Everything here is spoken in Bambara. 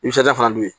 Nisɔndiya fana don